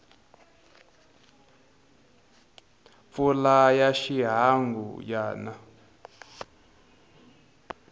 mpfula ya xihangu ya na